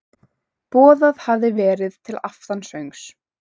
Boðað hafði verið til aftansöngs.